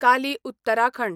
Kali Uttarakhand